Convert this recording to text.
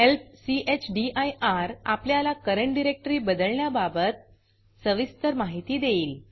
help चदिर आपल्याला current directory बदलण्याबाबत सविस्तर माहिती देईल